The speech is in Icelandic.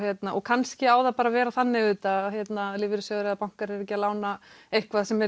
kannski á það bara að vera þannig auðvitað að lífeyrissjóðir eða bankar eru ekki að lána eitthvað sem